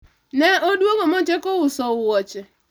ne odwogo mochako uso wuoche